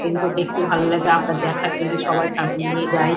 এগুনো দেখতেও ভালো লাগে। আবার দেখার জন্যে সবাই ফ্যামিলি নিয়ে যাই।